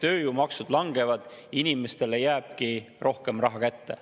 Tööjõumaksud langevad, inimestele jääbki rohkem raha kätte.